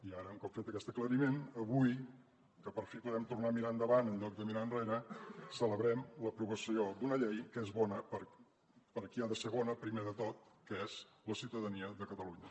i ara un cop fet aquest aclariment avui que per fi podem tornar a mirar endavant enlloc de mirar enrere celebrem l’aprovació d’una llei que és bona per a qui ha de ser bona primer de tot que és la ciutadania de catalunya